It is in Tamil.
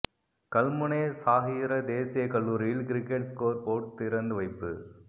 கல்முனை சாஹிரா தேசியக் கல்லூரியில் கிரிக்கெட் ஸ்கோர் போட் திறந்து வைப்பு